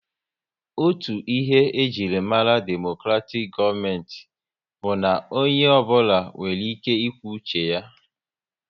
Otu ihe e jiri mara demokratik gọọmenti bụ na onye ọ bụla nwere ike ịkwu uche ya